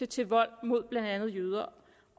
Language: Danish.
til vold mod blandt andet jøder